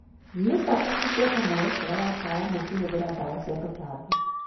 Nĩ bata kũbuata mwerekera wa ataramu ũkĩhũthĩra ndawa cia tũtambi.